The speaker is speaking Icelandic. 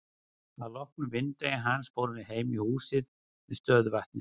Að loknum vinnudegi hans fórum við heim í húsið við stöðuvatnið.